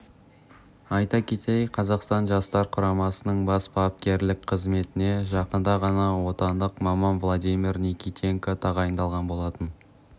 айта кетейік қазақстан жастар құрамасының бас бапкерлік қызметіне жақында ғана отандық маман владимир никитенко тағайындалған болатын